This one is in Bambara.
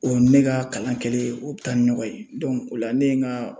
O ni ne ka kalan kɛlen, o bi taa ni ɲɔgɔn ye o la ne ye n ka